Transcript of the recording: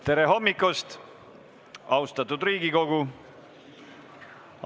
Tere hommikust, austatud Riigikogu!